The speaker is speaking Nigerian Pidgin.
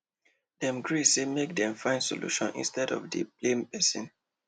dem gree say make dem find solution instead of dey blame person